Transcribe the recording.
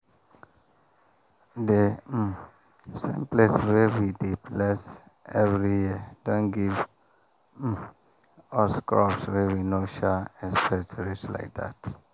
the um same place wey we dey bless every year don give um us crops we no sha expect reach like that.